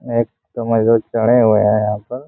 एक चढ़े हुए हैं यहां पर।